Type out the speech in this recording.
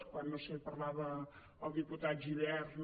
quan no ho sé parlava el diputat gibert no